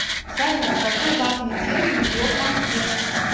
салют какой важный термин ввел ампер